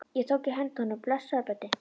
Ég tók í hönd honum: Blessaður, Böddi